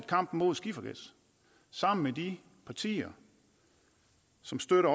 kampen mod skifergas sammen med de partier som støtter